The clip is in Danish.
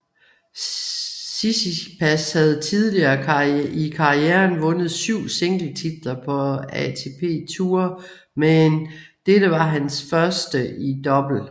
Tsitsipas havde tidligere i karrieren vundet syv singletitler på ATP Tour men dette var hans første i double